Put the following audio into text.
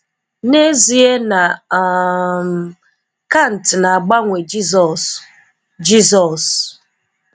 N'ezie na um CANT na-agbanwe Jizọs' JESUS!!